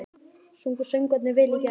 Sungu söngvararnir vel í gær?